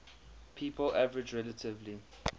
people average relatively